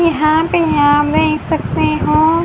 यहां पे हाम देख सकते हो--